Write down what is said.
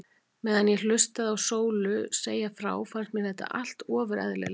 Meðan ég hlustaði á Sólu segja frá fannst mér þetta allt ofur eðlilegt.